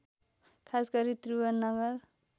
खास गरी त्रिभुवननगर